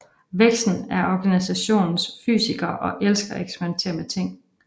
Vexen er Organisationens Fysiker og elsker at eksperimentere med ting